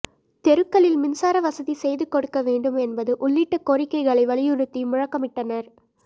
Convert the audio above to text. தெருக்களில் மின்சாரவசதி செய்து கொடுக்க வேண்டும் என்பது உள்ளிட்ட கோரிக்கைகளை வலியுறுத்தி முழக்கமிட்டனா்